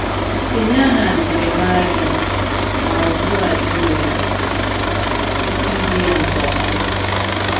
Tinye aha njirimara gị, ma ugbu a ị nwere ike iji ya nke ọma.